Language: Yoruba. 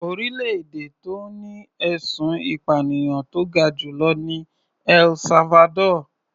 Orílẹ̀-èdè tó ní ẹ̀sùn ìpànìyàn tó ga jù lọ ni El Salvador.